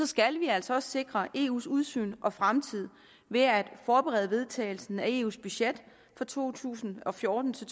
skal vi altså også sikre eus udsyn og fremtid ved at forberede vedtagelsen af eus budget for to tusind og fjorten til